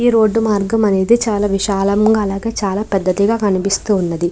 ఈ రోడ్డు మార్గం అనేది చాలా విశాలంగా అలాగే చాలా పెద్దదిగా కనిపిస్తూ ఉన్నది.